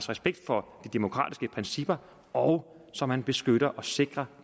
respekt for de demokratiske principper og så man beskytter og sikrer